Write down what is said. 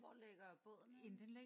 Hvor ligger båden henne?